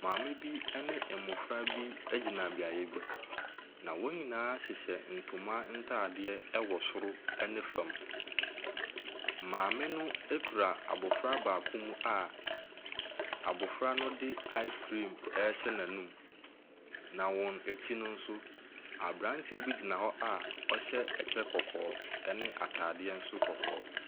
Maame bi ne mmɔfra bi gyina beaeɛ bi na wɔn nyinaa hyehyɛ ntoma ntadeɛ wɔ soro ne fam. Maame no kura abɔfra baakomu a abɔfra no de ice cream rehyɛ n'anum. Na wɔn akyi no nso, aberanteɛ bi gyina hɔ a ɔhyɛ ɛkyɛ kɔkɔɔ ne atadeɛ nso kɔkɔɔ.